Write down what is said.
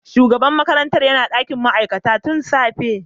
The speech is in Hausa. Shugaban makarantar yana dakin ma'aikata tun safe.